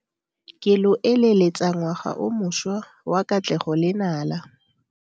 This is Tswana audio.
Ke lo eleletsa ngwaga o mošwa wa katlego le nala.